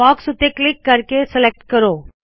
box ਉੱਤੇ click ਕਰਕੇ select ਕਰੋ